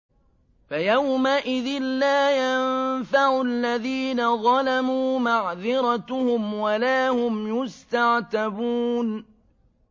فَيَوْمَئِذٍ لَّا يَنفَعُ الَّذِينَ ظَلَمُوا مَعْذِرَتُهُمْ وَلَا هُمْ يُسْتَعْتَبُونَ